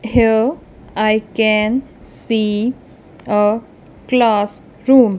here I can see a class room.